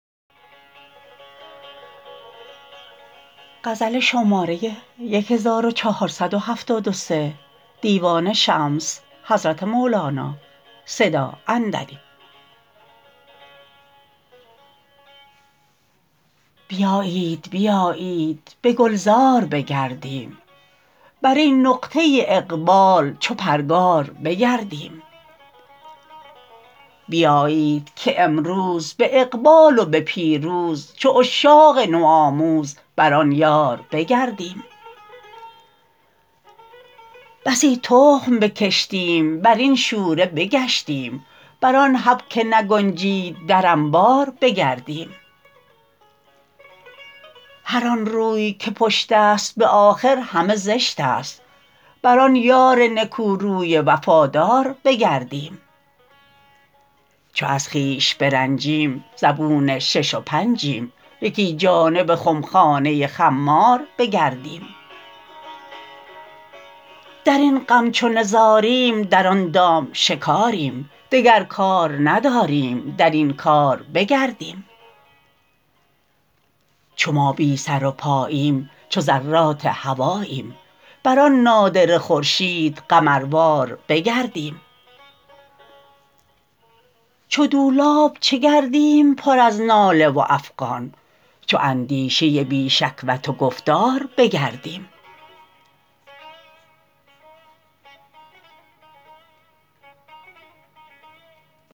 بیایید بیایید به گلزار بگردیم بر این نقطه اقبال چو پرگار بگردیم بیایید که امروز به اقبال و به پیروز چو عشاق نوآموز بر آن یار بگردیم بسی تخم بکشتیم بر این شوره بگشتیم بر آن حب که نگنجید در انبار بگردیم هر آن روی که پشت است به آخر همه زشت است بر آن یار نکوروی وفادار بگردیم چو از خویش برنجیم زبون شش و پنجیم یکی جانب خمخانه خمار بگردیم در این غم چو نزاریم در آن دام شکاریم دگر کار نداریم در این کار بگردیم چو ما بی سر و پاییم چو ذرات هواییم بر آن نادره خورشید قمروار بگردیم چو دولاب چه گردیم پر از ناله و افغان چو اندیشه بی شکوت و گفتار بگردیم